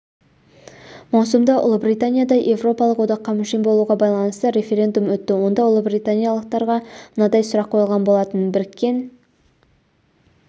маусымда ұлыбританияда еуропалық одаққа мүше болуға байланысты референдум өтті онда ұлыбританиялықтарға мынандай сұрақ қойылған болатын біріккен